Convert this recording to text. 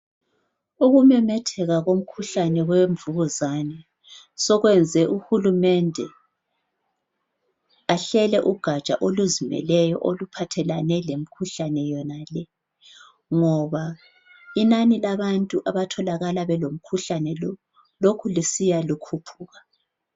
Ukumemetheka komkhuhlane wemvukuzane sekwenze uhulumende ahlele ugatsha oluzimeleyo oluphathelane lemikhuhlane yonale ngoba inani labantu abatholakala belomkhuhlane lo lokhu lisiya likhuphuka.